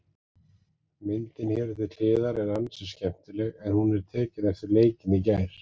Myndin hér til hliðar er ansi skemmtileg en hún er tekin eftir leikinn í gær.